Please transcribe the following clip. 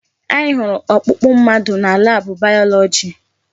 Anyị hụrụ ọkpụkpụ mmadụ na laabụ bayọlọji.